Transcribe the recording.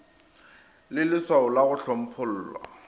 le lswao la go hlomphollwa